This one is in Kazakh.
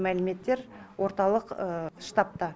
мәліметтер орталық штабта